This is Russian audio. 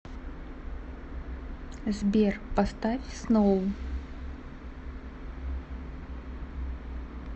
сбер поставь сноу